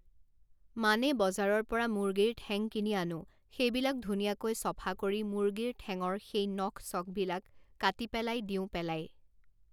মানে বজাৰৰ পৰা মুৰ্গীৰ ঠেং কিনি আনোঁ সেইবিলাক ধুনীয়াকৈ চফা কৰি মুৰ্গীৰ ঠেঙৰ সেই নখ চখবিলাক কাটি পেলাই দিওঁ পেলাই